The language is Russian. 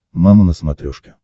мама на смотрешке